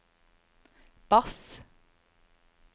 bass